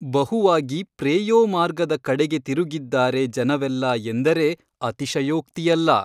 ಬಹುವಾಗಿ ಪ್ರೇಯೋ ಮಾರ್ಗದ ಕಡೆಗೆ ತಿರುಗಿದ್ದಾರೆ ಜನವೆಲ್ಲ ಎಂದರೆ ಅತಿಶಯೋಕ್ತಿಯಲ್ಲ.